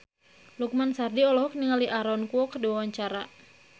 Lukman Sardi olohok ningali Aaron Kwok keur diwawancara